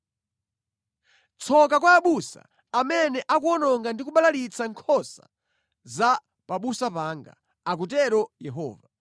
“Tsoka kwa abusa amene akuwononga ndi kubalalitsa nkhosa za pabusa panga!” akutero Yehova.